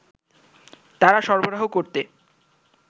তারা সরবরাহ করতে